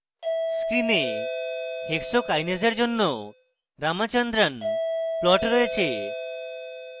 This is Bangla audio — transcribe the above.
screen hexokinase এর জন্য ramachandran plot রয়েছে